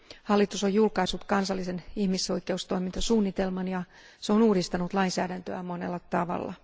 Hallitus on julkaissut kansallisen ihmisoikeustoimintasuunnitelman ja se on uudistanut lainsäädäntöään monella tavalla.